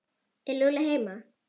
Er Lúlli heima?